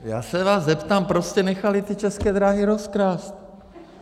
Já se vás zeptám, proč jste nechali ty České dráhy rozkrást?